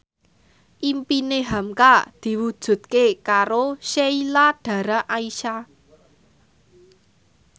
impine hamka diwujudke karo Sheila Dara Aisha